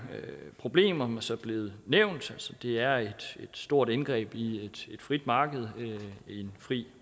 problemer som blevet nævnt det er et stort indgreb i et frit marked med fri